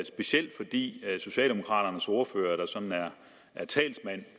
specielt fordi socialdemokraternes ordfører der sådan er er talsmand